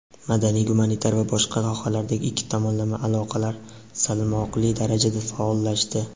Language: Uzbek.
madaniy-gumanitar va boshqa sohalardagi ikki tomonlama aloqalar salmoqli darajada faollashdi.